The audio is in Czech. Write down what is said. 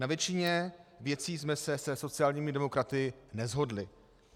Na většině věcí jsme se se sociálními demokraty neshodli.